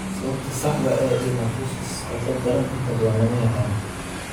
Sababta saxda ah ee dermatosis qandho daran inta badan lama yaqaan.